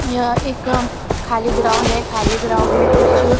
यहां एक खाली ग्राउंड है खाली ग्राउंड मे कुछ--